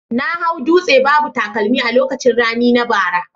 Na hau dutse babu takalmi a lokacin rani na bara